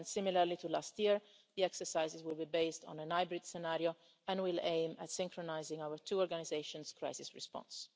And similarly to last year, the exercises will be based on a hybrid scenario and will aim at synchronising our two organisations' crisis response.